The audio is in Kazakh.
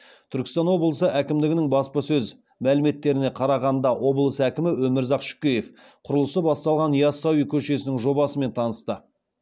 түркістан облысы әкімдігінің баспасөз мәліметтеріне қарағанда облыс әкімі өмірзақ шөкеев құрылысы басталған ясауи көшесінің жобасымен танысты